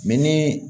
ni